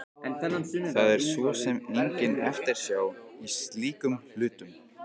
Það er svo sem engin eftirsjá í slíkum hlutum.